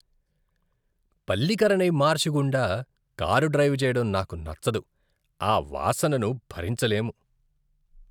Pallikaranai marsh గుండా car drive చెయ్యడం నాకు నచ్చదు, ఆ వాసనను భరించలేము!